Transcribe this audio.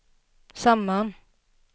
samman